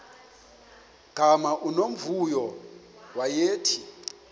gama unomvuyo wayethe